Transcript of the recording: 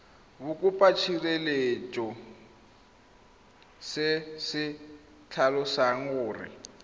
bokopatshireletso se se tlhalosang gore